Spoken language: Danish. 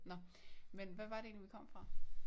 Nå men hvad var det egentlig vi kom fra?